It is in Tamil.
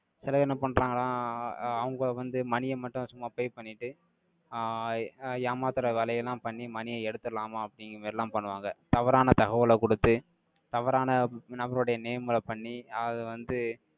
சிலர் என்ன பண்றாங்களாம், அவங்க வந்து, மணியை மட்டும், சும்மா pay பண்ணிட்டு, ஐய் அஹ் ஏமாத்துற வேலை எல்லாம் பண்ணி, மணியை எடுத்திடலாமா? அப்படிங்கிற மாதிரி எல்லாம் பண்ணுவாங்க. தவறான தகவலை கொடுத்து, தவறான நபருடைய name களை பண்ணி, அதை வந்து,